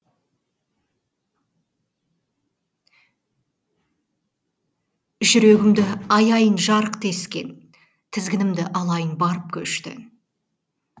жүрегімді аяйын жарық тескен тізгінімді алайын барып көштен